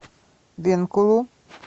бенкулу